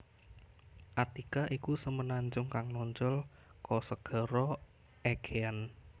Attica iku semenanjung kang nonjol ka Segara Aegean